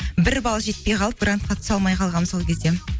бір бал жетпей қалды грантқа түсе алмай қалғанмын сол кезде